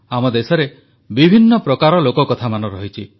ଆମ ଦେଶରେ ବିଭିନ୍ନ ପ୍ରକାର ଲୋକକଥାମାନ ରହିଛି